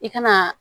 I ka na